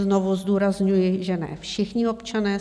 Znovu zdůrazňuji, že ne všichni občané.